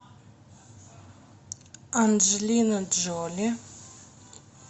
анджелина джоли